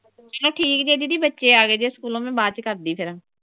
ਚਲੋ ਠੀਕ ਜੇ ਦੀਦੀ ਬੱਚੇ ਆ ਗਏ ਜੇ ਸਕੂਲੋਂ ਮੈਂ ਬਾਅਦ ਚ ਕਰਦੀ ਆਂ। ਫਿਰ.